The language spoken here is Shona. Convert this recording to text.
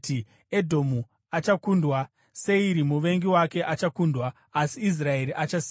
Edhomu achakundwa; Seiri, muvengi wake, achakundwa, asi Israeri achasimba.